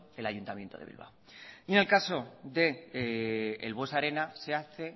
el ayuntamiento de bilbao y en el caso del buesa arena se hace